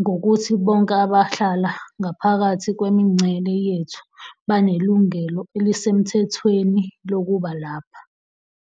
ngokuthi bonke abahlala ngaphakathi kwemingcele yethu banelungelo elisemthethweni lokuba lapha.